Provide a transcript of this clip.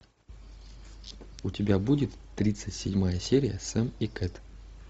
у тебя будет тридцать седьмая серия сэм и кэт